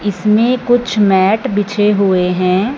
इसमें कुछ मैट बिछे हुए है।